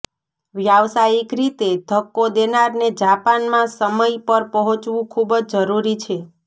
વ્યાવસાયિક રીતે ધક્કો દેનારને જાપાનમાં સમય પર પહોંચવું ખૂબ જ જરૂરી છે